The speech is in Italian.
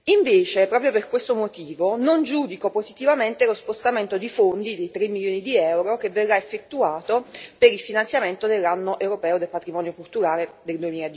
Invece, proprio per questo motivo, non giudico positivamente lo spostamento di fondi, di 3 milioni di euro, che verrà effettuato per il finanziamento dell'Anno europeo del patrimonio culturale nel